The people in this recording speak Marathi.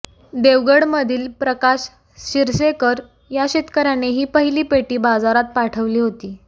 देवगडमधील प्रकाश शिरसेकर या शेतकर्याने ही पहिली पेटी बाजारात पाठवली होती